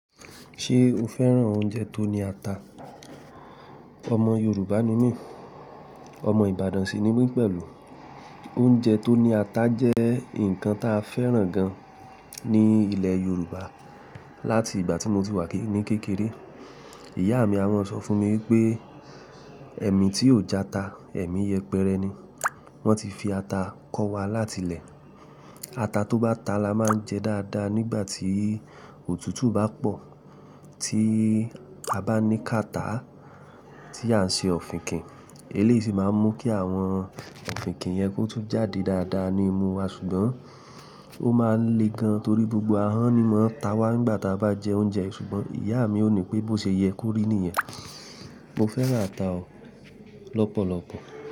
Ṣé o fẹ́ràn oúnjẹ tó ní ata? Ọmọ Yorùbá ni mí, ọmọ Ìbàdàn sì ni mí pẹ̀lú. Oúnjẹ tó ní ata jẹ́ nǹkan ta fẹ́ràn gan ní ilẹ̀ Yorùbá. Lati ìgbà tí mo ti wà ní kékeré, ìyá mi a máa sọ fún mi wipé ẹ̀mí tí ò jata, ẹ̀mí yẹpẹrẹ ni. Wọ́n ti fi ata kọ́ wa láti lẹ̀. Ata tó bá ta la máa ń jẹ dáadáa nígbà tí òtútù bá pọ̀. Tí a bá ní catarrh tí à ń ṣe ọ̀fìnkìn, eléyìí sì máa ń mú kí àwọn ọ̀fìnkìn yẹn kó tún jáde dáadáa ní imú wa ṣùgbọ́n ó máa le gan torí gbogbo ahọ́n ni mo n ta wá nígbà tí a bá jẹ oúnjẹ ṣùgbọ́n ìyá mi ó ní pé bó ṣe yẹ, korì niyẹn. Mo fẹ́ràn ata ọ̀ lọ́pọ̀lọpọ̀.